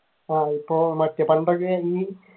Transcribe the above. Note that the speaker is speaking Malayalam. ആഹ് ഇപ്പൊ